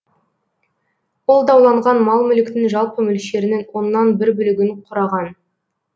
ол дауланған мал мүліктің жалпы мөлшерінің оннан бір бөлігін құраған